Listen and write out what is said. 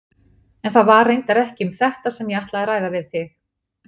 En það var reyndar ekki um þetta sem ég ætlaði að ræða við þig.